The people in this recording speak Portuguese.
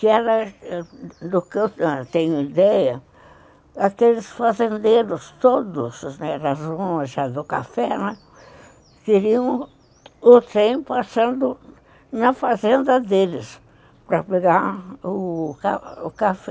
Que era, do que eu tenho ideia, aqueles fazendeiros todos, né, as onjas do café, né, queriam o trem passando na fazenda deles para pegar o café.